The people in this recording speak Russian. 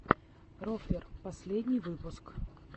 рофлер последний выпуск